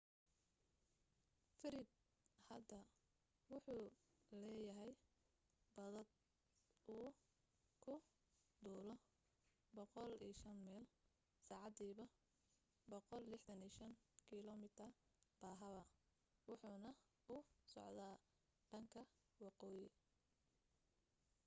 fred hadda wuxuu leeyahay baadad uu ku duulo 105 mayl saacadiiba 165km/h wuxuuna u socda dhanka waqooyi